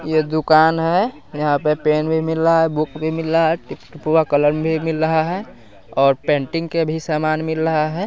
ये दुकान है यहाँ पे पेन भी मिल लहा है बुक भी मिल लहा है टिप-टुपुआ कलम भी मिल लहा है और पेंटिंग के भी समान मिल लहा है।